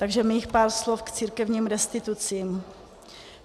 Takže mých pár slov k církevním restitucím.